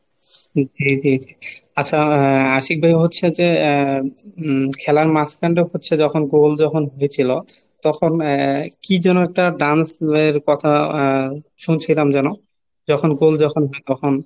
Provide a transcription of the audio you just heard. জি জি, আচ্ছা আহ আশিক ভাই হচ্ছে যে উম খেলার মাঝখানটা হচ্ছে যখন গোল যখন হয়েছিল তখন আহ কি যেন একটা dance boy এর কথা শুনছিলাম যেন যখন গোল যখন,